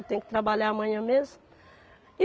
Eu tenho que trabalhar amanhã mesmo.